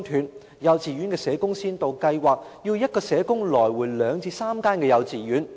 在幼稚園的社工先導計劃下，一名社工需要奔走兩至三間幼稚園工作。